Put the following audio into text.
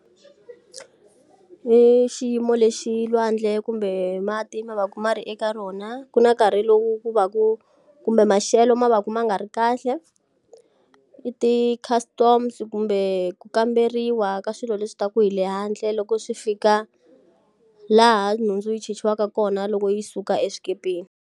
I xiyimo lexi lwandle kumbe mati ma va ku ma ri eka rona. Ku na nkarhi lowu ku va ku kumbe maxelo ma va ku ma nga ri kahle. I ti-customs kumbe ku kamberiwa ka swilo leswi ta ku hi le handle loko swi fika laha nhundzu yi chichiwaka kona loko yi suka eswikepeni.